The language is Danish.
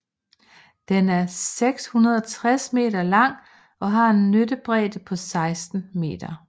Den er 660 m lang og har en nyttebredde på 16 m